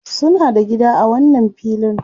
Suna da gida a wannan filin.